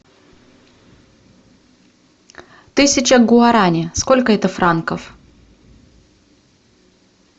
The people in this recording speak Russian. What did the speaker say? тысяча гуарани сколько это франков